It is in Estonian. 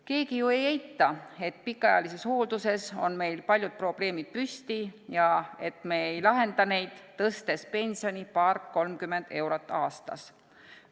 Keegi ju ei eita, et pikaajalises hoolduses on meil paljud probleemid püsti ja et me ei lahenda neid, tõstes pensioni paar-kolmkümmend eurot aastas.